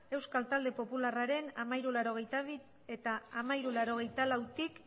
euskal talde popularren mila hirurehun eta laurogeita bi eta mila hirurehun eta laurogeita lautik